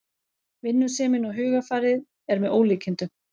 Vinnusemin og hugarfarið er með ólíkindum